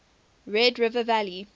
red river valley